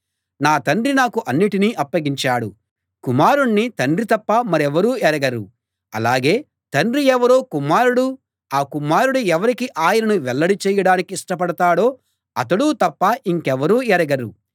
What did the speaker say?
నా తండ్రి నాకు అన్నిటినీ అప్పగించాడు కుమారుణ్ణి తండ్రి తప్ప మరెవరూ ఎరగరు అలాగే తండ్రి ఎవరో కుమారుడూ ఆ కుమారుడు ఎవరికి ఆయనను వెల్లడి చేయడానికి ఇష్టపడతాడో అతడూ తప్ప ఇంకెవరూ ఎరగరు